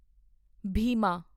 Bhima